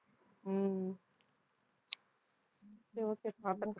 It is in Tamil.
ஹம் சரி okay